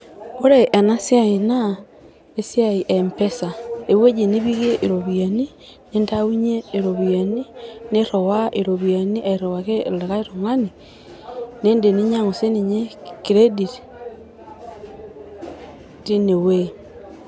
Ore ena siai naa esiai e mpesa ewueji nipikie iropiyiani ,nintaunyie iropiyiani ,niriwa iropiyiani airiwaki olikae tungani, nidim ninyangu sinye credit tine wuei.